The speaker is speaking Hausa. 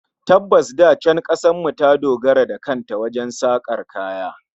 Tabbas, da can kasar mu ta dogara da kan ta wajen sakar kaya